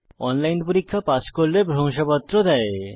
online পরীক্ষা pass করলে প্রশংসাপত্র দেয়